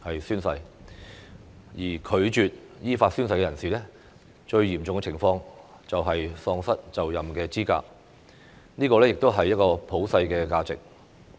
如任何人士拒絕依法宣誓，最嚴重的後果是喪失就任資格，這亦是普世價值。